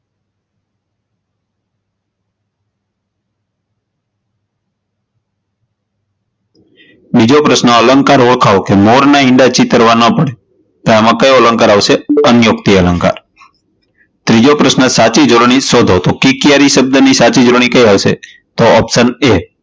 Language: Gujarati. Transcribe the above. બીજો પ્રશ્ન અલંકાર ઓળખાવો, કે મોર ના ઇંડા ચીતરવા ન પડે તો આમા કયો અલંકાર આવશે? અન્યોક્તી અલંકાર, ત્રીજો પ્રશ્ન સાચી જોડણી સોધો તો કિકિયારી શબ્દની સાચી જોડણી કઈ આવશે? તો option a